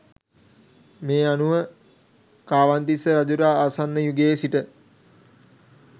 මේ අනුව කාවන්තිස්ස රජුට ආසන්න යුගයේ සිට